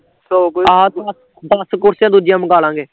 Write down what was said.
ਆਹ ਦੱਸ ਕੁਰਸੀਆ ਦੂਜੀਆਂ ਮਗਾਲਾਂਗੇ